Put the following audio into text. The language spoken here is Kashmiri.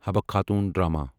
حبہَ خاتون ڈرامہ